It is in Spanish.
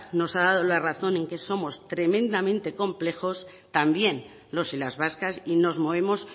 nos ha dado la razón en que somos tremendamente complejos también los y las vascas y nos movemos